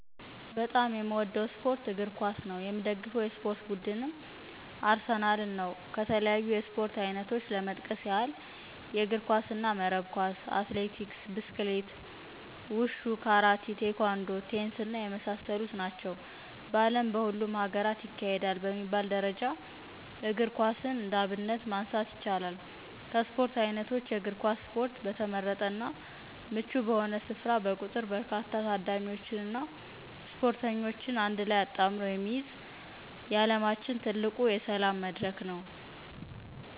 በጣም የምወደው ስፓርት እግር ኮስ ነው። የምደግፈው የስፓርት ቡድንም አርሴናል ነው ከተለያዩ የስፖርት አይነቶች ለመጥቀስ ያህል፦ የእግርና መረብ ኳስ፣ አትሌቲክስ፣ ብስክሌት፣ ውሾ፣ ካራቴ፣ ቴኳንዶ፣ ቴኒስ እና የመሳሰሉት ናቸው። በዓለም በሁሉም ሀገራት ይካሄዳል በሚባል ደረጃ እግር ኳስን እንደ አብነት ማንሳት ይቻላል። ከስፖርት አይነቶች የእግር ኳስ ስፖርት በተመረጠና ምቹ በሆነ ስፍራ በቁጥር በርካታ ታዳሚዎችንና ስፖርተኞችን አንድላይ አጣምሮ የሚይዝ የዓለማችን ትልቁ የሰላም መድረክ ነው።